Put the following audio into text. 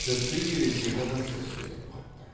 тіпті ересек адамша сөйлеп қапты